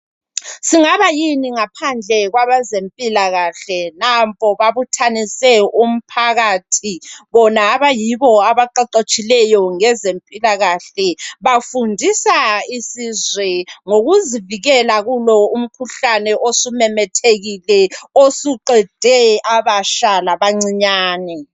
Singaba yini ngaphandle kwabezempilakahle. Nampo babuthanise umphakathi bona abayibo abaqeqetshileyo ngezempilakahle. Bafundisa isizwe ngokuzivikela kulo umkhuhlane osumemethekile osuqede abatsha labancinyane.